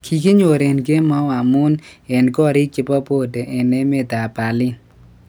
Kikiyor en kemou amun en korik chepo bode en emet ap Berlin